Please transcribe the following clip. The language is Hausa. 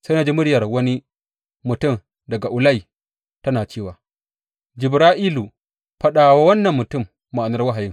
Sai na ji muryar wani mutum daga Ulai tana cewa, Jibra’ilu, faɗa wa wannan mutum ma’anar wahayin.